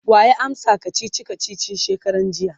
waya amsa kachichi kachichin shekaran jiya?